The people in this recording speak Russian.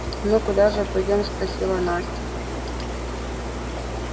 ну куда же пойдём спросила настя